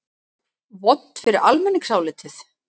Vont fyrir almenningsálitið?